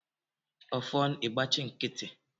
Ọfọn ị gbachi nkịtị!